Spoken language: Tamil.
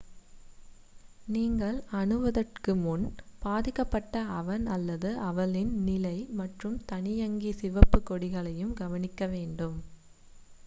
நீங்கள் அணுகுவதற்கு முன் பாதிக்கப்பட்ட அவன் அல்லது அவளின் நிலை மற்றும் தானியங்கி சிவப்புக் கொடிகளையும் கவனிக்க வேண்டும்